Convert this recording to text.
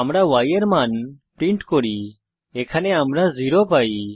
আমরা y এর মান প্রিন্ট করি এখানে আমরা 0 পাই